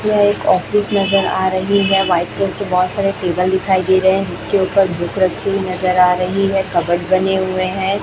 यह एक ऑफिस नजर आ रही है व्हाइट कलर के बहोत सारे टेबल दिखाई दे रहे है जिसके ऊपर बुक रखी नजर आ रही है कबर्ड बने हुए हैं।